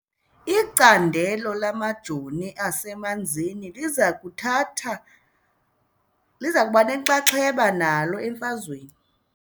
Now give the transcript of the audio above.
Icandelo lamajoni asemanzini liza kuthatha liza kuba nenxaxheba nalo emfazweni .